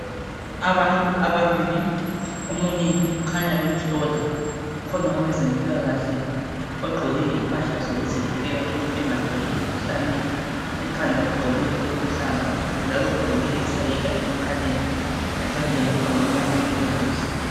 Abantu ababili omunye ukhanya bemhlola kukhona owezempilakahle ogqoke impahla zokuzivikela ukuthi engatholi umkhuhlane. Ekhanda ugqoke okuluhlaza njalo ugqokile isayeka emakhaleni. Ezandleni ugqokile amagilovisi.